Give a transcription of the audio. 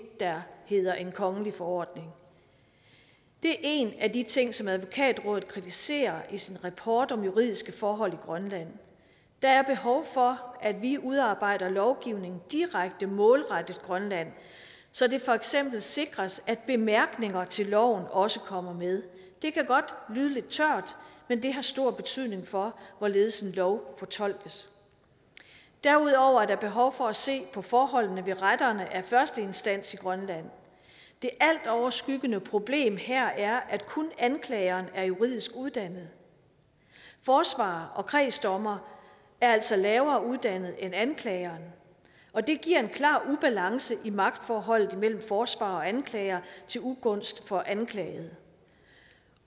der hedder en kongelig forordning det er en af de ting som advokatrådet kritiserer i sin rapport om juridiske forhold i grønland der er behov for at vi udarbejder lovgivningen direkte målrettet grønland så det for eksempel sikres at bemærkninger til loven også kommer med det kan godt lyde lidt tørt men det har stor betydning for hvorledes en lov fortolkes derudover er der behov for at se på forholdene ved retterne af første instans i grønland det altoverskyggende problem her er at kun anklagerne er juridisk uddannet forsvarere og kredsdommere er altså lavere uddannet end anklageren og det giver en klar ubalance i magtforholdet imellem forsvarer og anklager til ugunst for anklagede